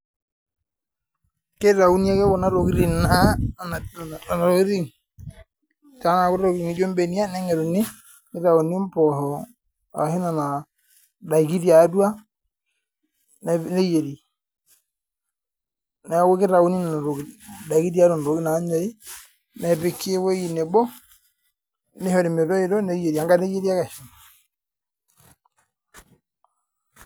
Keitawuni ake Kuna tokitin aa anapiaa Kuna tokitin paa intokitin nijo mbenia nengeruni nitauni mbooho ashu Nena daiki tiatua neyieri neeku kitauni nena tokitin ndaikin tiatua tokitin naanyori nepiki ewueji nebo nishori metoito neyieri anka neyieri ake